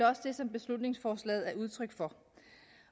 også det som beslutningsforslaget er udtryk for